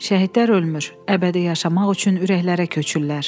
Şəhidlər ölmür, əbədi yaşamaq üçün ürəklərə köçürlər.